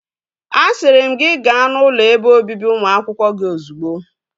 Asịrị m gị gaa n'ụlọ ebe obibi ụmụ akwụkwọ gị ozugbo!